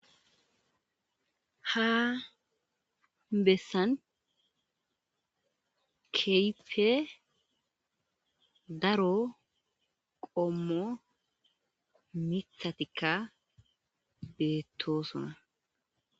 Ha besan kehippe daro qommo miththatikka bettosona.